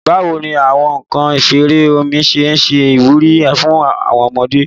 Bawo ni awọn nkan isere omi ṣe ṣe iwuri fun awọn ọmọde?